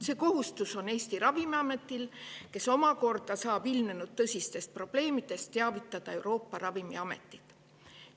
See kohustus on Eesti ravimiametil, kes omakorda saab ilmnenud tõsistest probleemidest teavitada Euroopa Ravimiametit.